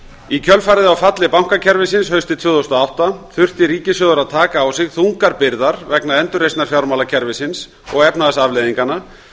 í kjölfarið á falli bankakerfisins haustið tvö þúsund og átta þurfti ríkissjóður að taka á sig þungar byrðar vegna endurreisnar fjármálakerfisins og efnahagsafleiðinganna